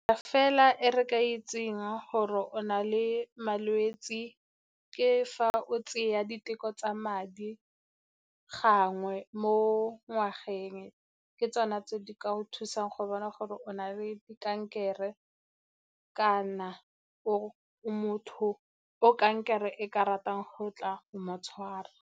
Fela e re ka itseng gore o na le malwetse ke fa o tseya diteko tsa madi gangwe mo ngwageng, ke tsona tse di ka go thusang go bona gore o na le kankere kana o motho o kankere e ka ratang go tla mo tshwara.